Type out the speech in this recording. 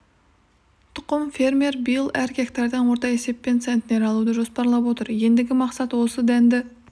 тұқым фермер биыл әр гектардан орта есеппен центнер алуды жоспарлап отыр ендігі мақсат осы дәнді